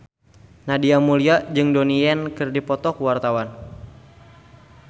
Nadia Mulya jeung Donnie Yan keur dipoto ku wartawan